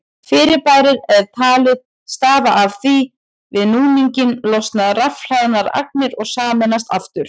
Fyrirbærið er talið stafa af því að við núninginn losna rafhlaðnar agnir og sameinast aftur.